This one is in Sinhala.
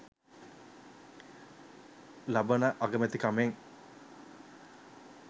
ලබන අගමැතිකමෙන්